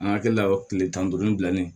An hakili la o kile tan ni duuru bilalen